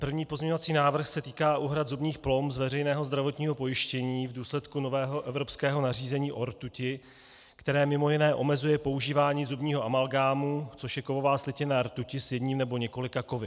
První pozměňovací návrh se týká úhrad zubních plomb z veřejného zdravotního pojištění v důsledku nového evropského nařízení o rtuti, které mimo jiné omezuje používání zubního amalgámu, což je kovová slitina rtuti s jedním nebo několika kovy.